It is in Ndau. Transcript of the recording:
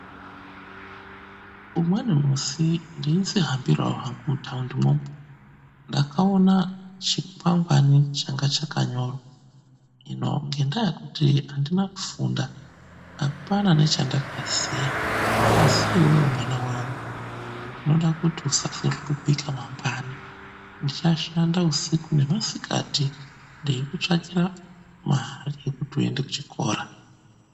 Umweni musi ndeidzihambirawo hangu muthundi ndakaona chikwangwani changa chakanyorwa hino ngenyayaa yekuti andizi kufunda apana nechandaziya asi iwewe mwana wangu ndinoda kuti uzazohlupika mangwani ndichashanda usiku nemasikati ndeikutsvakira mari yekuti uende kuchikora.